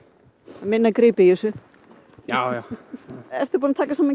minna grip í þessu já já ertu búinn að taka saman